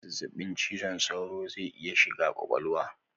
Zazzabin cizon saura zai iya shiga kwakwalwa